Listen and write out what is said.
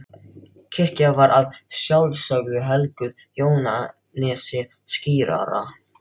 Kirkjan var að sjálfsögðu helguð Jóhannesi skírara.